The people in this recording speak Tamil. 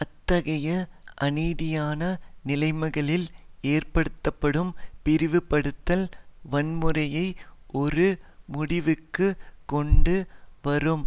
அத்தகைய அநீதியான நிலைமைகளில் ஏற்படுத்தப்படும் பிரிவுபடுத்தல் வன்முறையைஒரு முடிவுக்கு கொண்டு வரும்